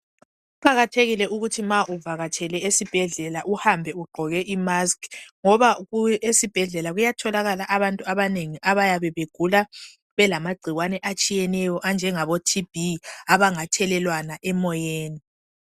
Kuqakathekile ukuthi ma uvakatshele esibhedlela uhambe ugqoke imask ngoba esibhedlela kuyatholakala abantu abanengi abayabe begula belamagcikwane atshiyeneyo anjengabo Tb angathelelwana emoyeni.